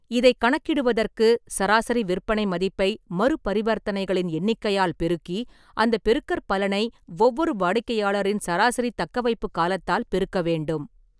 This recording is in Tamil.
இதைக் கணக்கிடுவதற்கு, சராசரி விற்பனை மதிப்பை மறுப் பரிவர்த்தனைகளின் எண்ணிக்கையால் பெருக்கி அந்தப் பெருக்கற்பலனை ஒவ்வொரு வாடிக்கையாளரின் சராசரித் தக்கவைப்புக் காலத்தால் பெருக்க வேண்டும்.